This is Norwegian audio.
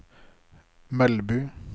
Melbu